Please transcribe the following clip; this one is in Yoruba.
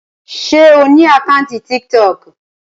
Ǹjẹ́ o ní àkáńtì Tiktok?